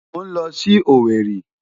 Mò ń lọ sí Owerri.